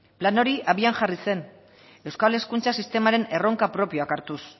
plan hori abian jarri zen euskal hezkuntza sistemaren erronka propioak hartuz